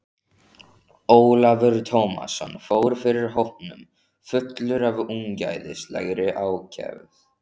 Ólafur Tómasson fór fyrir hópnum fullur af ungæðislegri ákefð.